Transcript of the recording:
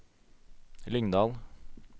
Lyngdal